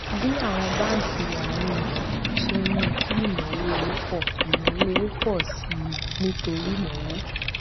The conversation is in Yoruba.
bí àwọn báńkì àárín gbùngbùn ṣe ń mú kí ìnáwó owó pọ ìnáwó owó pọ sí i nítorí ìnáwó